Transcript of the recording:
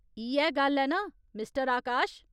इ'यै गल्ल ऐ ना मिस्टर आकाश ?